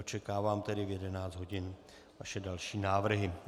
Očekávám tedy v 11 hodin vaše další návrhy.